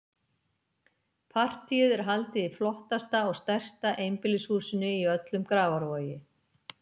Partíið er haldið í flottasta og stærsta einbýlishúsinu í öllum Grafarvogi.